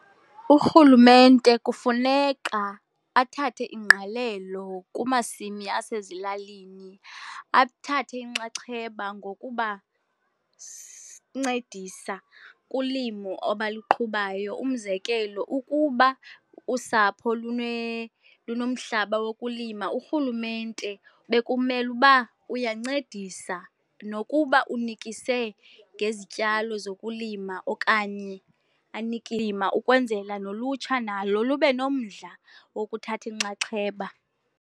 Urhulumente kufuneka athathe ingqalelo kumasimi asezilalini, athathe inxaxheba ncedisa kulimo abaluqhubayo. Umzekelo, ukuba usapho lunomhlaba wokulima, urhulumente bekumele uba uyancedisa, nokuba unikise ngezityalo zokulima okanye lima ukwenzela nolutsha nalo lube nomdla wokuthatha inxaxheba.